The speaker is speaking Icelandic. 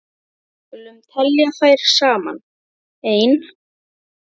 Við skulum telja þær saman: Ein.